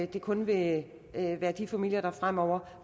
det kun vil være de familier der fremover